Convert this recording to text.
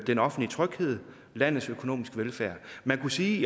den offentlige tryghed landets økonomiske velfærd man kunne sige